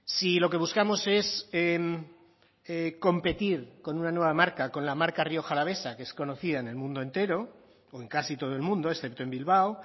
si lo que buscamos es competir con una nueva marca con la marca rioja alavesa que es conocida en el mundo entero o en casi todo el mundo excepto en bilbao